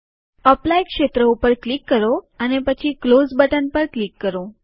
apply ક્ષેત્ર ઉપર click કરો અને પછી ક્લોઝ બટન પર ક્લિક કરો